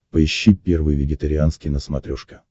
поищи первый вегетарианский на смотрешке